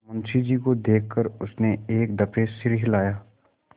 मुंशी जी को देख कर उसने एक दफे सिर हिलाया